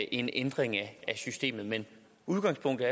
ændring af systemet men udgangspunktet